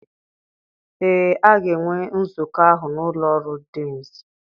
ee, a ga-enwe nzukọ ahụ n'ụlọ ọrụ deans.